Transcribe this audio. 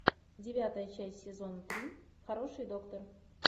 девятая часть сезона три хороший доктор